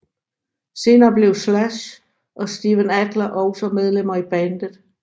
Senere blev Slash og Steven Adler også medlemmer i bandet